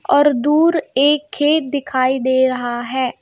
और दूर एक खेत दिखाई दे रहा है.